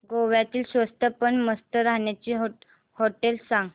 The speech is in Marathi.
गोव्यातली स्वस्त पण मस्त राहण्याची होटेलं सांग